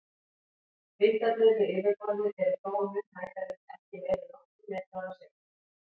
Vindarnir við yfirborðið eru þó mun hægari, ekki meira en nokkrir metrar á sekúndu.